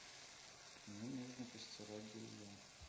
мне нужно постирать белье